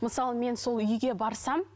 мысалы мен сол үйге барсам